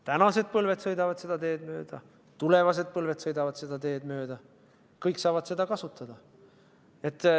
Tänased põlved sõidavad seda teed mööda ja tulevased põlved sõidavad seda teed mööda, kõik saavad seda kasutada.